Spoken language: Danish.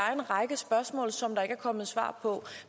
er en række spørgsmål som der ikke er kommet svar på